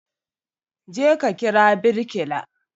Je ka kira birkila